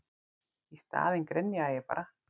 Í staðinn grenjaði ég bara.